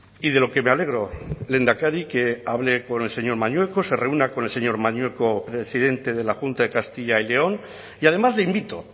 y de lo que me alegro lehendakari que hable con el señor mañueco se reúna con el señor mañueco presidente de la junta de castilla y león y además le invito